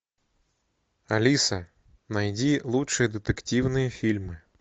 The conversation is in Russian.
алиса найди лучшие детективные фильмы